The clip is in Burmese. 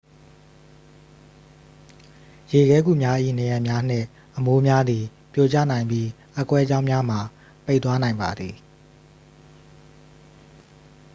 ရေခဲဂူများ၏ နံရံများနှင့် အမိုးများသည် ပြိုကျနိုင်ပြီး အက်ကွဲကြောင်းများမှာ ပိတ်သွားနိုင်ပါသည်